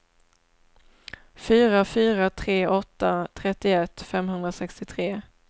fyra fyra tre åtta trettioett femhundrasextiotre